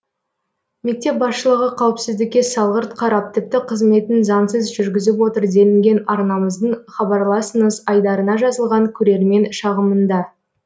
мектеп басшылығы қауіпсіздікке салғырт қарап тіпті қызметін заңсыз жүргізіп отыр делінген арнамыздың хабарласыңыз айдарына жазылған көрермен шағымында